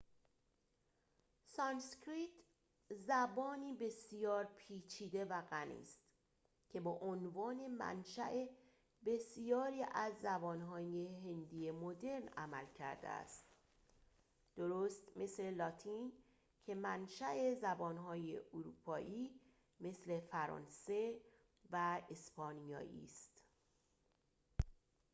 سانسکریت زبانی بسیار پیچیده و غنی است که به‌عنوان منشاء بسیاری از زبان‌های هندی مدرن عمل کرده است درست مثل لاتین که منشاء زبان‌های اروپایی مثل فرانسه و اسپانیایی است